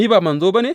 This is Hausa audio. Ni ba manzo ba ne?